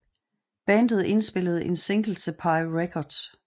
Bandet indspillede en single til Pye Records